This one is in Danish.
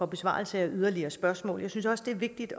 besvarelse af yderligere spørgsmål jeg synes også det er vigtigt